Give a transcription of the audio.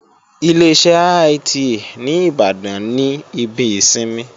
Ileṣẹ́ IITA ní Ìbàdàn ní ibi ìsinmi